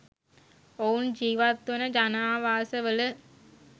ඔවුන් ජිවත් වන ජනාවාස වල